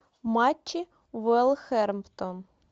матчи уэлхермптон